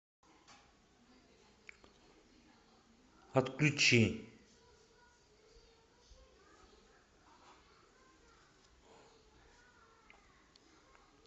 отключи